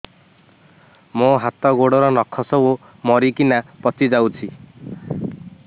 ମୋ ହାତ ଗୋଡର ନଖ ସବୁ ମରିକିନା ପଚି ଯାଉଛି